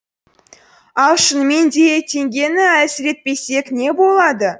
ал шынымен де теңгені әлсіретпесек не болады